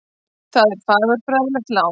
Það er fagurfræðilegt lán.